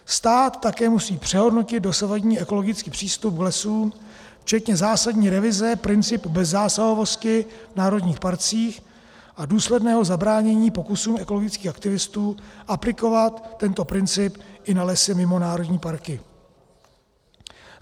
Stát také musí přehodnotit dosavadní ekologický přístup k lesům včetně zásadní revize principu bezzásahovosti v národních parcích a důsledného zabránění pokusům ekologických aktivistů aplikovat tento princip i na lesy mimo národní parky.